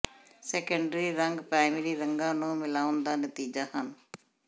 secondary ਰੰਗ primary ਰੰਗਾਂ ਨੂੰ ਮਿਲਾਉਣ ਦਾ ਨਤੀਜਾ ਹਨ